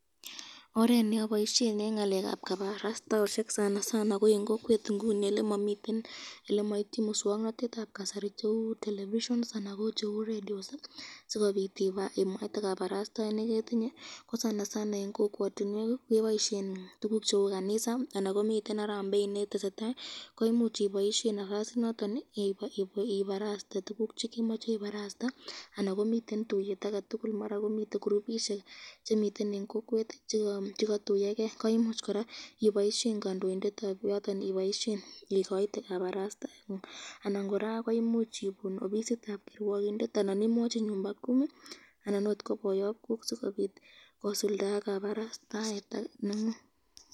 Oret neboishen eng ngalekab kabarastaoshek ko eng kokwet elemaityin miswoknotetab kasari cheu television anan ko cheu radios sikobit imwaite kabarastaet neketinye ko eng kokwatinwek keboisyen tukuk cheu kanisa anan komiten Harambe netesetai komuch iboishen nafas initon ibaraste tukuk chekemache ibaraste anan komiten tuyet ake tukul ,mara komiten gurupishek chemiten eng kokwet chekatuyoken koimuch koraa iboishen kandoindetab yoton ,ikoite kabarastaet anan koraa koimuch ibun ofisitab kirwokindet anan ko nyumba kumi anan akot ko boyobkok sikobit kosulda kabarastaet nengung.